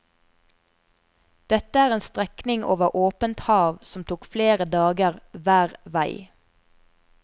Dette er en strekning over åpent hav som tok flere dager hver vei.